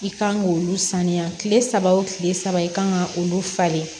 I kan k'olu sanuya kile saba wo kile saba i kan ka olu falen